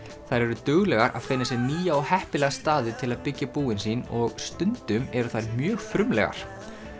þær eru duglegar að finna sér nýja og heppilega staði til að byggja búin sín og stundum eru þær mjög frumlegar